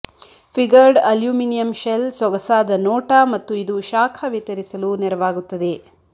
figured aluminium shell ಸೊಗಸಾದ ನೋಟ ಮತ್ತು ಇದು ಶಾಖ ವಿತರಿಸಲು ನೆರವಾಗುತ್ತದೆ